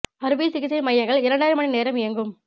அறுவை சிகிச்சை மையங்கள் இரண்டரை மணி நேரம் இயங்கும்